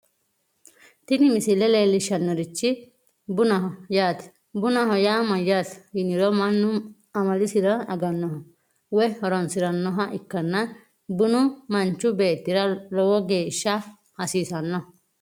tini misile leellishshannorichi bunaho yaate bunaho yaa mayyaate yiniro mannu amalisira agannoha woy horoonsirannoha ikkanna bunu manchu beettira logeesha hasiisanno.